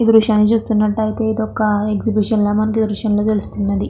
ఈ దృశ్యాన్ని చూస్తున్నట్టయితే ఇదొక్క ఎగ్జిబిషన్ లా మనకి దృశ్యంలో తెలుస్తున్నది.